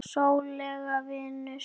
Rólegur vinur!